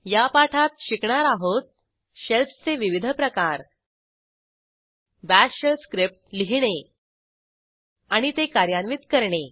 या पाठात शिकणार आहोत Shellsचे विविध प्रकार बाश शेल स्क्रिप्ट लिहीणे आणि ते कार्यान्वित करणे